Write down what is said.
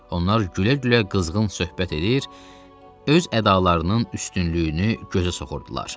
Onlar gülə-gülə qızğın söhbət edir, öz ədalarının üstünlüyünü gözə soxurdular.